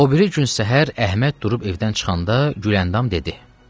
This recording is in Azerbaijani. O biri gün səhər Əhməd durub evdən çıxanda Güləndam dedi: